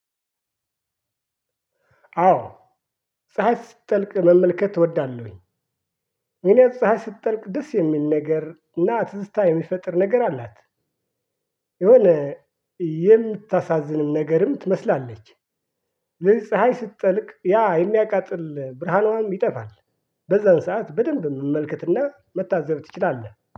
አወ ፀሀይ ስትጠልቅ መመልከት እወዳለሁ። እኔ ፀሀይ ስትጠልቅ ደስ የሚል ነገርና ትዝታ የሚፈጥር ነገር አላት። የሆነ የምታሳዝንም ነገርም ትመስላለች። ፀሀይ ስትጠልቅ ያ የሚያቃጥል ብርሃኗም ይጠፋል። በዛን ሰዓት በደንብ መመልከትና መታዘብ ትችላለህ